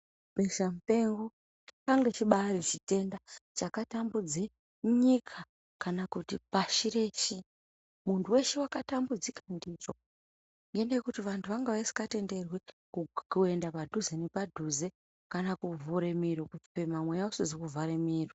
Besa mupengo chakanga chibari chitenda chakatambudze nyika kana kuti pashi reshe. Muntu weshe wakatambudzika ndicho yedu yekuti vantu vanga vasikatenderwi kuenda padhuze nepadhuze kana kuvhure miro kufema mweya usikazii kuvhara miro.